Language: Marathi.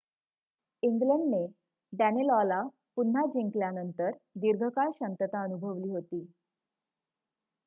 इंग्लंडने डॅनेलॉला पुन्हा जिंकल्यानंतर दीर्घकाळ शांतता अनुभवली होती